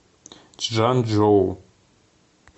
чжанчжоу